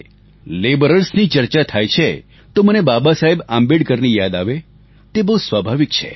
Labourersની ચર્ચા થાય છે તો મને બાબા સાહેબ આંબેડકરની યાદ આવે તે બહુ સ્વાભાવિક છે